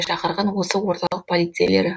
шақырған осы орталық полицейлері